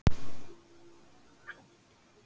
Mikilvægt að óvissu sé eytt